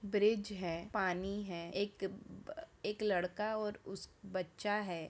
Bridge है पानी है एक बा अ एक लड़का और उस बच्चा है।